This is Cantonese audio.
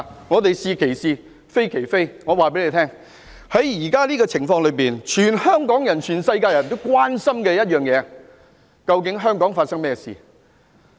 我們是其是，非其非，現在這個情況，全香港市民、全世界的人都關心香港發生了甚麼事情。